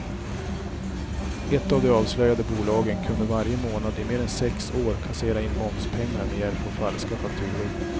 Ett av de avslöjade bolagen kunde varje månad i mer än sex år kassera in momspengar med hjälp av falska fakturor.